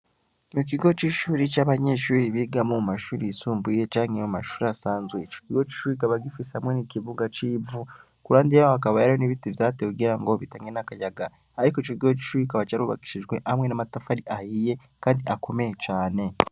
Mu kigo c'ishuri c'abanyeshuiri bigamwo mu mashuri yisumbuye canke iyo mu mashuri asanzwe ico kigo cicuri gikaba gifise hamwe n' ikivuga c'ivu ku urandi yaho akaba yaro n'ibiti vyatewe kugira ngo bitange n'akayaga, ariko ico gigo cicui gikaba carubakishijwe hamwe n'amatafari ahiye, kandi akomeye cane.